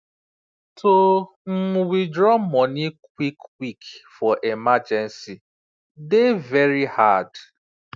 to um withdraw money quick quick for emergency dey very hard